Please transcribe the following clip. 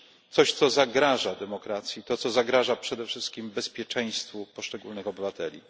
coś, co zagraża demokracji, co zagraża przede wszystkim bezpieczeństwu poszczególnych obywateli.